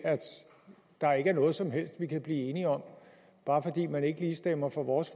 der ikke er noget som helst vi kan blive enige om bare fordi man ikke lige stemmer for vores